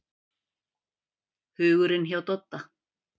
Hugurinn hjá Dodda.